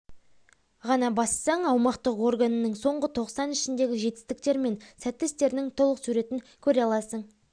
ғана бассаң аумақтық органының соңғы тоқсан ішіндегі жетістіктері мен сәтті істерінің толық суретін көре аласын